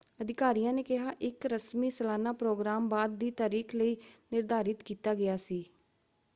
ਅਧਿਕਾਰੀਆਂ ਨੇ ਕਿਹਾ ਇਕ ਰਸਮੀ ਸਾਲਾਨਾ ਪ੍ਰੋਗਰਾਮ ਬਾਅਦ ਦੀ ਤਾਰੀਖ ਲਈ ਨਿਰਧਾਰਿਤ ਕੀਤਾ ਗਿਆ ਸੀ।